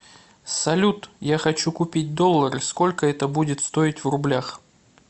салют я хочу купить доллары сколько это будет стоить в рублях